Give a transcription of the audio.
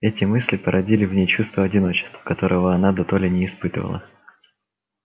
эти мысли породили в ней чувство одиночества которого она дотоле не испытывала